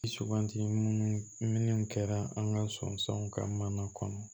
Suganti munnu kɛra an ka sɔnsanw ka mana kɔnɔ